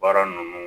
Baara ninnu